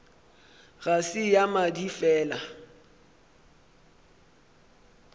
ga se ya madi fela